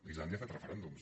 islàndia ha fet referèndums